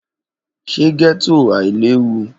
Ṣe getto ailewu?